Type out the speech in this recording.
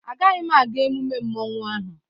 Agaghị m aga emume mmanwu ahụ